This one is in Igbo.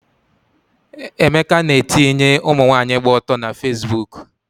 Emeka na-etinye ụmụnwaanyị gba ọtọ na Fesbuk